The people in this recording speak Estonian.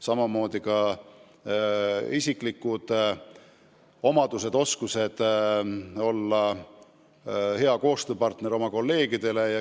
Samamoodi peavad tal olema teatud isikuomadused, ta peab oma kolleegidele hea koostööpartner olema.